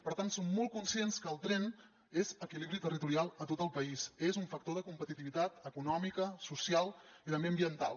per tant som molt conscients que el tren és equilibri territorial a tot el país és un factor de competitivitat econòmica social i també ambiental